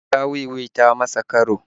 Ya sha wi-wi ta masa karo